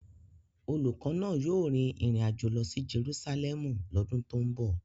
Olùkọ́ náà yóò rin ìrìn àjò lọ sí Jerusalẹmu lọ́dún tó ń bọ̀.